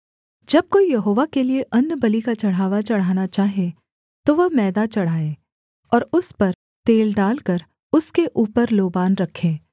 जब कोई यहोवा के लिये अन्नबलि का चढ़ावा चढ़ाना चाहे तो वह मैदा चढ़ाए और उस पर तेल डालकर उसके ऊपर लोबान रखे